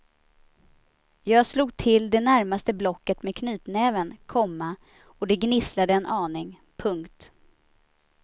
Jag slog till det närmaste blocket med knytnäven, komma och det gnisslade en aning. punkt